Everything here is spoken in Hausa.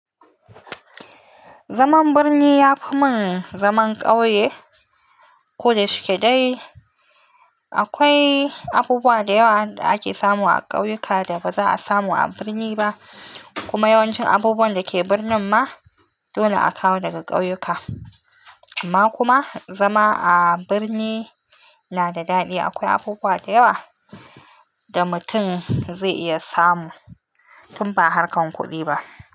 Zaman birni ya fi min zaman ƙauye. Ko da shuke dai, akwai abubuwa da yawa da ake samu a ƙauyuka da ba za a samu a birni ba. Kuma yawancin abubuwan da ke birnin ma dole aka kawo daga ƙauyuka. Amma kuma zama a birni na da daɗi. Akwai abubuwa da yawa da mutum zai iya samu tun ba harkar kuɗi ba.